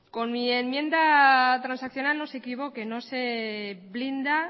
con mi enmienda transaccional no se equivoque no se blinda